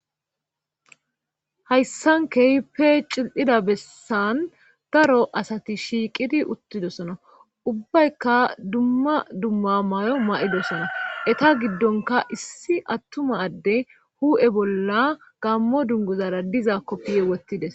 hayssan keype cil7ida bessan daro asati shiiqidi uttidosona ubbaykka dumma dumma may7o ma7idosona eta giddonka issi attuma adde hu7e bolla gammo dunguzara diza koppiye wottides